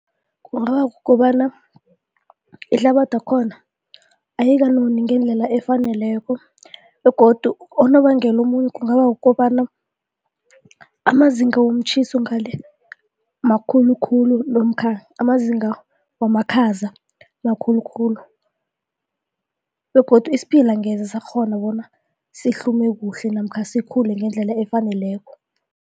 Kungaba kukobana ihlabathi yakhona ayikanoni ngendlela efaneleko begodu unobangela omunye kungaba kukobana amazinga womtjhiso ngale makhulukhulu namkha amazinga wamakhaza makhulukhulu begodu isiphila angeze sakghona bona sihlume kuhle namkha sikhule ngendlela efaneleko.